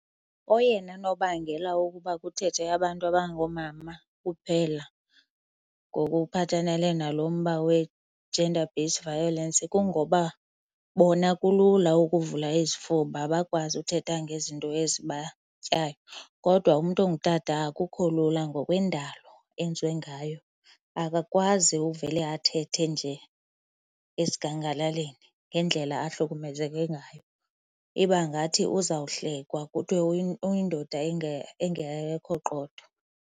Oyena nobangela wokuba kuthethe abantu abangoomama kuphela ngokuphathenele nalo mba we-gender based violence kungoba bona kulula ukuvula izifuba bakwazi uthetha ngezinto ezibatyayo. Kodwa umntu ongutata akukho lula ngokwendalo enziwe ngayo. Akakwazi uvele athethe nje esigangalaleni ngendlela ahlukumezeke ngayo. Iba ngathi uzawuhlekwa kuthiwe uyindoda engekho qotho.